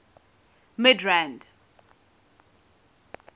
midrand